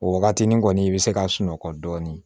O wagatinin kɔni i bɛ se ka sunɔgɔ dɔɔnin